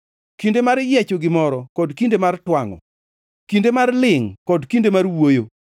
kinde mar yiecho gimoro kod kinde mar twangʼo, kinde mar lingʼ kod kinde mar wuoyo,